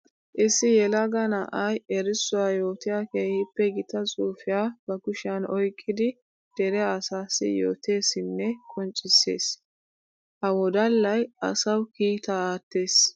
Issi yelaga na'ay erissuwa yootiya keehippe gita xuufiya ba kushiyan oyqqiddi dere asaassi yootesinne qoncciseesa. Ha wodallay asawu kiitta aattes.